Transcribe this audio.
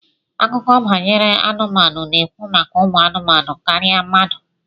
Akụkọ banyere anụmanụ na-ekwu maka umu anumanu karịa mmadụ